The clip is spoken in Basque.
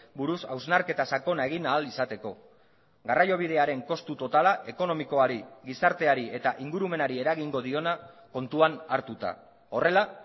buruz hausnarketa sakona egin ahal izateko garraiobidearen kostu totala ekonomikoari gizarteari eta ingurumenari eragingo diona kontuan hartuta horrela